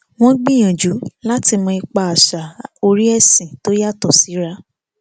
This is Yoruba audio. wọn gbìyànjú láti mọ ipa àṣà orí ẹsìn tó yàtọ síra